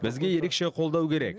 бізге ерекше қолдау керек